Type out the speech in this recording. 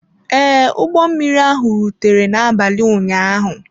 Ee, ụgbọ mmiri ahụ rutere n'abalị ụnyaahụ.